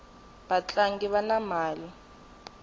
vatlangi vana mali